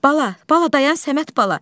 Bala, bala dayan Səməd bala.